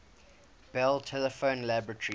bell telephone laboratories